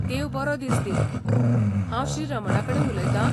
देव बरो दिस दिवं, हांव श्री. रमणाकडेन उलयतां?